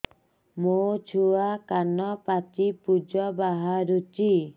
ମୋ ଛୁଆ କାନ ପାଚି ପୂଜ ବାହାରୁଚି